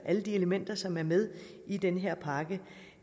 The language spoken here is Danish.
alle de elementer som er med i den her pakke